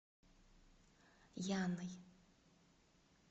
яной